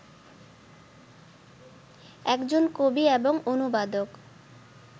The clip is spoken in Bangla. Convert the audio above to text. একজন কবি এবং অনুবাদক